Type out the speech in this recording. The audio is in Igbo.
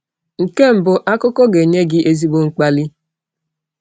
Nke mbụ, akụkọ ga-enye gị ezigbo mkpali.